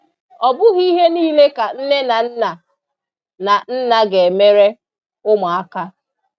ọbụghi ihe niile ka nne na nna na nna ga-emere ụmụaka